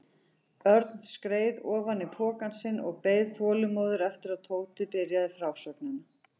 Örn skreið ofan í pokann sinn og beið þolinmóður eftir að Tóti byrjaði frásögnina.